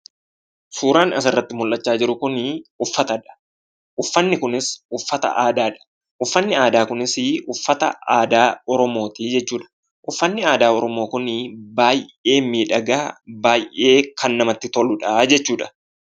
Suuraan asirratti mul'achaa jiru kun uffatadha. uffatni kunis uffata aadaadha. Uffatni aadaa kunis uffata aadaa oromooti jechuudha. Uffatni aadaa oromoo kun baay'ee miidhagaa baay'ee kan namatti toludha jechuudha.